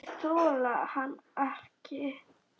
Þeir þola hann ekki.